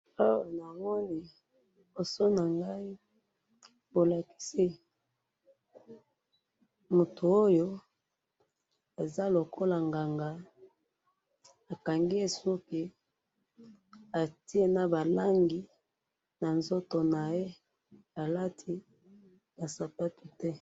awa namoni libosonangayi bolakisi mutu oyo azalokola nganga bakangiye suku atiye nabalangi nanzotonaye alatibasapato te